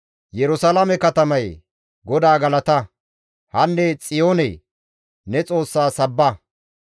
Yerusalaame katamayee! GODAA galata! Hanne Xiyoonee! Ne Xoossa sabba!